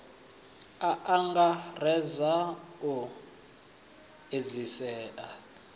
a a angaredza u edzisea